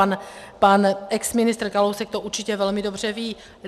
A pan exministr Kalousek to určitě velmi dobře ví.